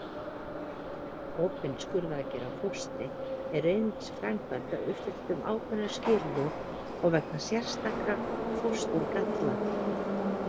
Opin skurðaðgerð á fóstri er einungis framkvæmd að uppfylltum ákveðnum skilyrðum og vegna sérstakra fósturgalla.